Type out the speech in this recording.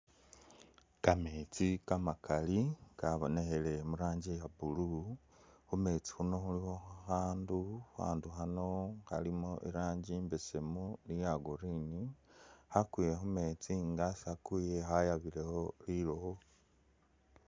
Kameetsi kamakali kabonekheleye mu'ranji iya blue , khumeetsi khuno khulikho khakhandu khakhandu khano khalimo iranji imbeesemu ni iya green khakwile khumeetsi nga'sakuye khayabilekho lilowo.